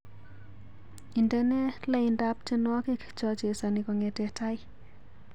Indene laindap tyenwogik chachesoni kongete tai